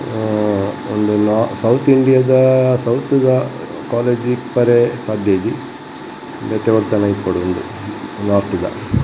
ಆ ಉಂದು ಲಾ ಸೌತ್ ಇಂಡಿಯದ ಸೌತ್ ದ ಕಾಲೇಜು ಇಪ್ಪರೆ ಸಾದ್ಯ ಇಜ್ಜಿ ಬೆತೆ ಒಲ್ಪನಾ ಇಪ್ಪೊಡು ಉಂದು ನೋರ್ಥ್ ದ .